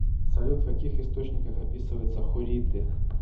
салют в каких источниках описывается хурриты